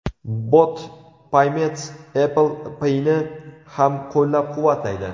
Bot Payments Apple Pay’ni ham qo‘llab-quvvatlaydi.